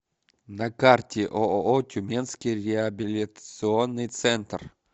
на карте ооо тюменский реабилитационный центр